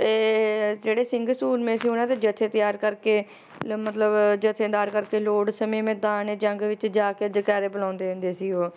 ਇਹ ਜਿਹੜੇ ਸਿੰਘ ਸੂਰਮੇ ਸੀ ਉਹਨਾਂ ਦੇ ਜੱਥੇ ਤਿਆਰ ਕਰਕੇ ਤੇ ਮਤਲਬ, ਜਥੇ ਤਿਆਰ ਕਰਕੇ ਲੋੜ ਸਮੇਂ ਮੈਦਾਨ-ਏ-ਜੰਗ ਵਿੱਚ ਜਾ ਕੇ ਜੈਕਾਰੇ ਬੁਲਾਉਂਦੇ ਹੁੰਦੇ ਸੀ ਉਹ